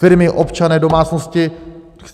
Firmy, občané, domácnosti.